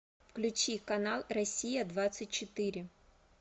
включи канал россия двадцать четыре